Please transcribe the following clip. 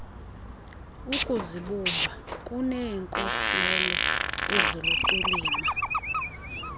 ukuzibumba uneenkolelo eziluqilima